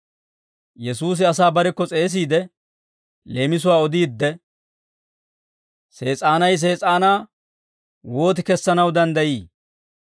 Yesuusi asaa barekko s'eesiide, leemisuwaa odiidde, «Sees'aanay Sees'aanaa wooti kessanaw danddayi?